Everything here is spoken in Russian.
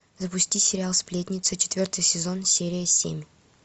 запусти сериал сплетница четвертый сезон серия семь